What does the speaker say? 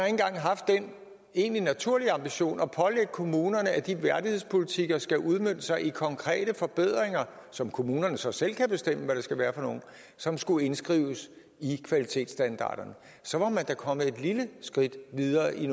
engang haft den egentlig naturlige ambition at pålægge kommunerne at de værdighedspolitikker skal udmønte sig i konkrete forbedringer som kommunerne så selv kan bestemme hvad skal være og som skulle indskrives i kvalitetsstandarderne så var man da kommet et lille skridt videre i